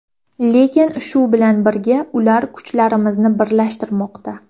Lekin shu bilan birga ular kuchlarimizni birlashtirmoqda.